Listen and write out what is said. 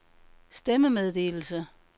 stemmemeddelelse